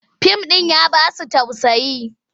Sin ɗin ya ba su tausayi.